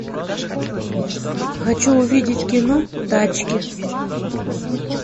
хочу увидеть кино тачки